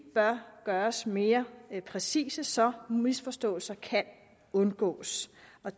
bør gøres mere præcise så misforståelser kan undgås